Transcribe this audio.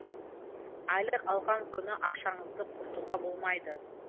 айлық алған күні ақшаңызды құртуға болмайды